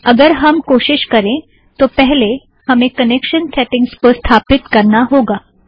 अगर हम कोशीश करें तो पहले हमें कनेक्शन सेटिंगज़ को स्थापित करना होगा